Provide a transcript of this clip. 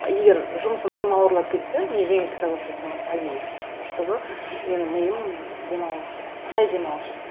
егер жұмысым тым ауырлап кетсе мен жеңіл кітап оқи саламын әдейі чтобы менің миым демалу үшін жай демалу үшін